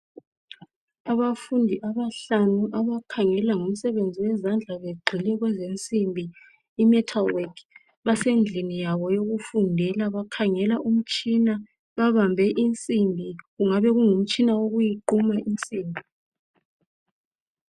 Abafundi abahlanu abakhangela ngomsebenzi wezandla. Begqoke okwezensimbi i-metal work. Basendlini yabo yokufundela bakhangela umtshina babambe insimbi. Kungabe kungumtshina wokuyiquma insimbi.